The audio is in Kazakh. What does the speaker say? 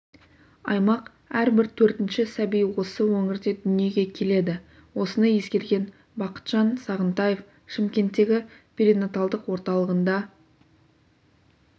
аймақ әрбір төртінші сәби осы өңірде дүниеге келеді осыны ескерген бақытжан сағынтаев шымкенттегі перинаталдық орталығында